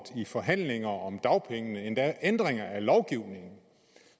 i forhandlinger om dagpengene endda ændringer af lovgivningen